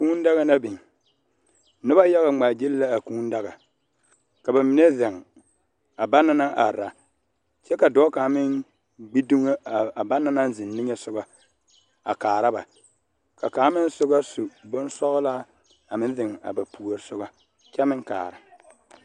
kuu daga la biŋ noba yaga ŋmaa gyile la a kuu daga ka bamine zeŋ a ba na naŋ are kyɛ ka dɔɔ kaŋ meŋ gbi dummo a banaŋ naŋ zeŋ nimisɔga a kaara ba ka kaŋ meŋ soba su boŋ sɔglaa a meŋ zeŋ a ba puori soba kyɛ meŋ kaara